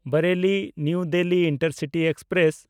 ᱵᱟᱨᱮᱞᱤ–ᱱᱟᱣᱟ Delhi intercity express